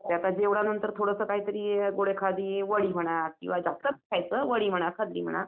आता जेवल्यानांतर थोडंसं काहीतरी गोड एखादी वडी म्हणा म्हणा